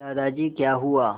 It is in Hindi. दादाजी क्या हुआ